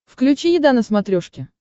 включи еда на смотрешке